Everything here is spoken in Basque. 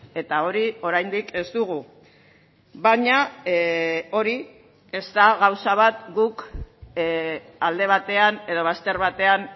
eta hori oraindik ez dugu baina hori ez da gauza bat guk alde batean edo bazter batean